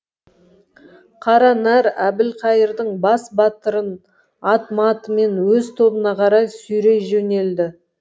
қара нар әбілқайырдың бас батырын ат матымен өз тобына қарай сүйрей жөнелді